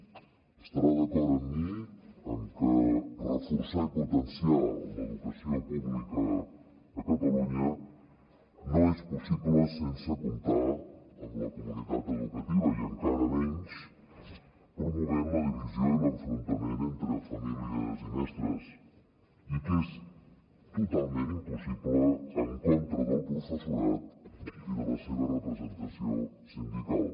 deu estar d’acord amb mi en que reforçar i potenciar l’educació pública a catalunya no és possible sense comptar amb la comunitat educativa i encara menys promovent la divisió i l’enfrontament entre famílies i mestres i que és totalment impossible en contra del professorat i de la seva representació sindical